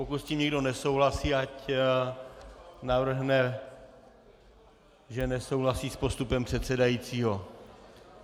Pokud s tím někdo nesouhlasí, ať navrhne, že nesouhlasí s postupem předsedajícího.